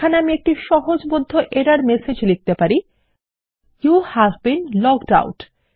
এখানে আমি একটি সহজবোধ্য এরর মেসেজ লিখতে পারি ইউভ বীন লগড আউট